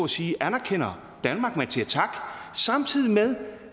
sige anerkender danmark man siger tak samtidig med